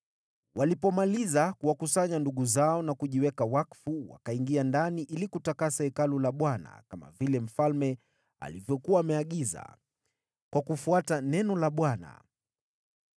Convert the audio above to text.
Walipomaliza kuwakusanya ndugu zao na kujiweka wakfu, wakaingia ndani ili kutakasa Hekalu la Bwana , kama vile mfalme alivyokuwa ameagiza, kwa kufuata neno la Bwana .